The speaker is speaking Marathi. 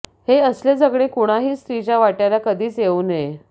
हे असले जगणे कुणाही स्त्रीच्या वाटय़ाला कधीच येऊ नये